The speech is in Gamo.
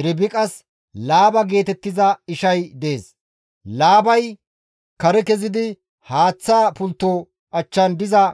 Irbiqas Laaba geetettiza ishay dees; Laabay kare kezidi haaththa pultto achchan diza